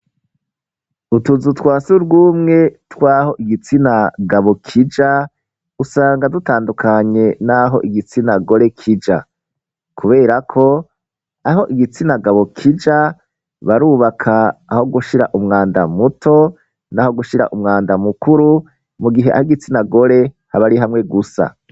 Utuzu twasugumwe twaho igitsina gabo kija usanga dutandukanye naho igitsina gore kija, kuberako aho igitsina gabo kija barubaka aho gushira umwanda muto n'aho gushira umwanda mukuru mu gihe ahitsina gore habari hamwe gusa.